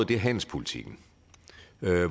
det er handelspolitikken